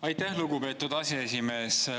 Aitäh, lugupeetud aseesimees!